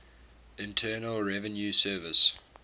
internal revenue service